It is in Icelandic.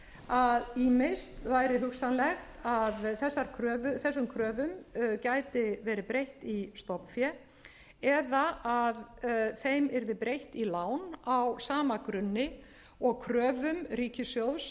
að ýmist væri hugsanlegt að þessum kröfum gæti verið breytt í stofnfé eða þeim yrði breytt í lán á sama grunni og kröfum ríkissjóðs